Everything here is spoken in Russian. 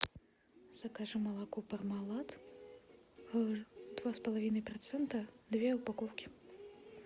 закажи молоко пармалат два с половиной процента две упаковки